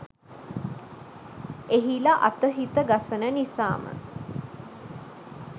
එහිලා අත හිත ගසන නිසාම